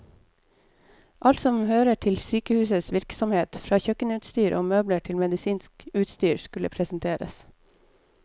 Alt som hører til sykehusets virksomhet, fra kjøkkenutstyr og møbler til medisinsk utstyr, skulle presenteres.